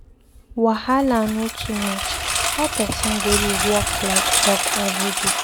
Wahala no too much, how person go dey work like dog everyday.